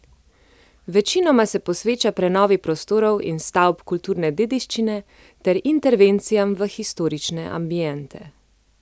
Večinoma se posveča prenovi prostorov in stavb kulturne dediščine ter intervencijam v historične ambiente.